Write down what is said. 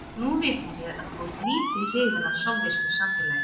Nú vitum við að þú ert lítið hrifinn af sovésku samfélagi.